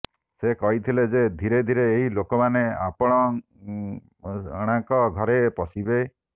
ସେ କହିଥିଲେ ଯେ ଧିରେ ଧିରେ ଏହି ଲୋକମାନେ ଆପଣଣାନଙ୍କ ଘରେ ପଶିବେ